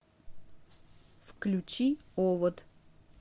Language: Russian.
включи овод